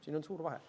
Siin on suur vahe.